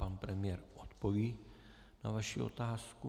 Pan premiér odpoví na vaši otázku.